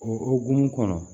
O hukumu kɔnɔ